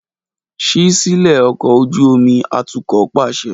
Ṣii silẹ ọkọ̀ ojú omi atukọ paṣẹ!